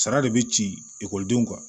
Sara de bɛ ci ekɔlidenw kan